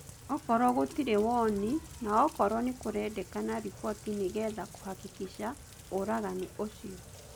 Okorwo gũtirĩ woni na okorwo nikũrendekana riboti nigetha kũhakikisha ũragani ũcio.